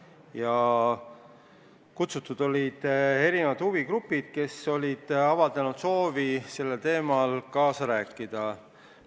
Kohale olid kutsutud esindajad huvigruppidest, kes olid avaldanud soovi sellel teemal kaasa rääkida.